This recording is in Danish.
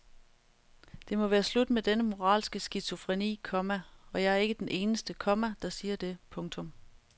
Det må være slut med denne moralske skizofreni, komma og jeg er ikke den eneste, komma der siger det. punktum